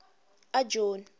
ajoni